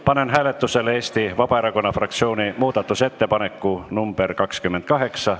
Panen hääletusele Eesti Vabaerakonna fraktsiooni muudatusettepaneku nr 28.